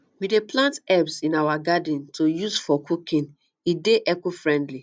we dey plant herbs in our garden to use for cooking e dey ecofriendly